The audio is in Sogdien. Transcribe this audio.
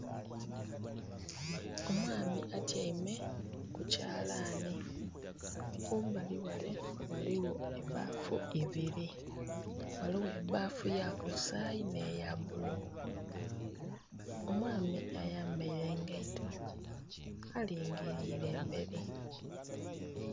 Omwami atyaime ku kyalani kumbali ghale ghaligho ebafu ebiri ghaligho ebafu eya kasayi nhe ya bulu, omwami ayambaire engaito alingilire emberi.